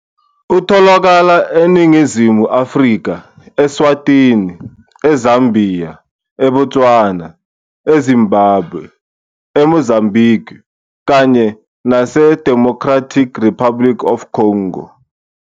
Utholakala eNingizimu Afrika, e-Swatini, eZambia, eBotswana, eZimbabwe, eMozambique, kanye naseDemocratic Republic of the Congo.